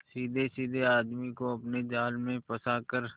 सीधेसाधे आदमी को अपने जाल में फंसा कर